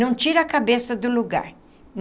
Não tira a cabeça do lugar.